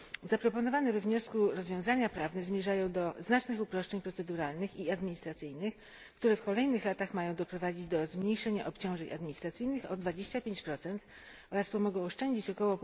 Zaproponowane we wniosku rozwiązania prawne zmierzają do znacznych uproszczeń proceduralnych i administracyjnych, które w kolejnych latach mają doprowadzić do zmniejszenia obciążeń administracyjnych o 25 oraz pomogą oszczędzić ok.